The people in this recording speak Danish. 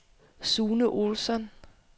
Sune Olsson